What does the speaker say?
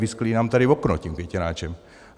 Vysklí nám tady okno tím květináčem.